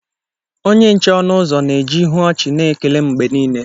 Onye nche ọnụ ụzọ na-eji ihu ọchị na-ekele m mgbe niile